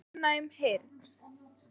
ofnæm heyrn